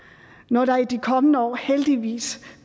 når der i de kommende år heldigvis